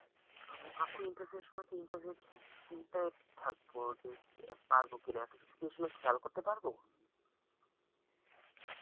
উম আপু interview এর সময় তো interview এর চিন্তায় থাকব যে পারব কিনা এতকিছু কি এ সময়ে খেয়াল করতে পারবো?